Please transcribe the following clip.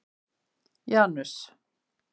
Janus